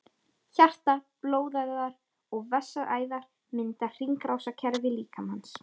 Hjarta, blóðæðar og vessaæðar mynda hringrásarkerfi líkamans.